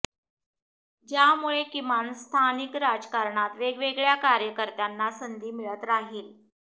ज्यामुळे किमान स्थानिक राजकारणात वेगवेगळ्या कार्यकर्त्यांना संधी मिळत राहील